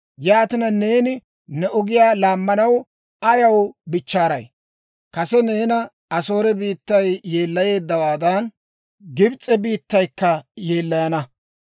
Yaatina neeni ne ogiyaa laammanaw ayaw bichchaaray? Kase neena Asoore biittay yeellayeeddawaadan, Gibs'e biittaykka yeellayana.